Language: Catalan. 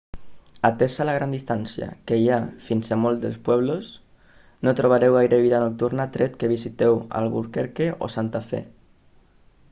atesa la gran distància que hi ha fins a molts dels pueblos no trobareu gaire vida nocturna tret que visiteu albuquerque o santa fe